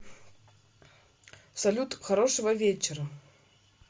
салют хорошего вечера